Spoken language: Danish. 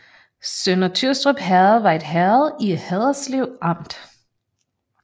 Sønder Tyrstrup Herred var et herred i Haderslev Amt